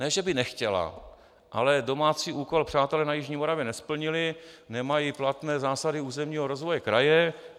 Ne že by nechtěla, ale domácí úkol přátelé na jižní Moravě nesplnili, nemají platné zásady územního rozvoje kraje.